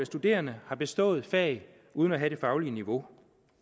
studerende har bestået et fag uden at have det faglige niveau